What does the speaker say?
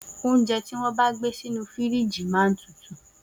Oúnjẹ ti won bà gbe sínù fírìgi màa ń tútù